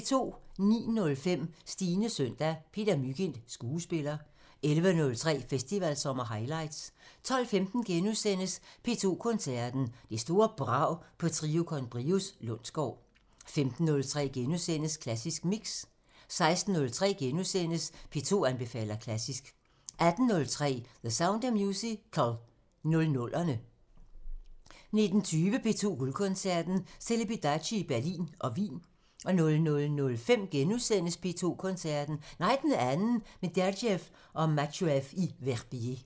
09:05: Stines søndag – Peter Mygind, skuespiller 11:03: Festivalsommer highlights 12:15: P2 Koncerten – Det store brag på Trio con Brios Lundsgaard * 15:03: Klassisk Mix * 16:03: P2 anbefaler klassisk * 18:03: The Sound of Musical – 00'erne 19:20: P2 Guldkoncerten – Celibidache i Berlin og Wien 00:05: P2 Koncerten – Nej, den anden – med Gergiev og Matsuev i Verbier *